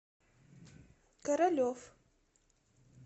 королев